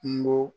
Kungo